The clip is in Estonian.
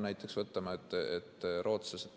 Näiteks, rootslased